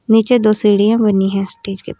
नीचे दो सीढ़ियां बनी हैं स्टेज के --